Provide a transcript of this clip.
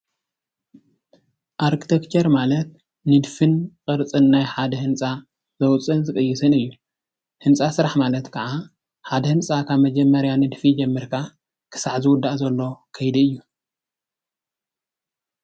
ኣርክቴክቸር ማለት ንድፍን ቅርፅን ናይ ሓደ ህንፃ ዘውፅን ዝቕይስን እዩ። ህንፃ ስራሕ ማለት ከዓ ሓደ ህንፃ ካብ መጀመርያ ንድፊ ጀሚርካ ክሳዕ ዝውዳእ ዘሎ ከይዲ እዩ።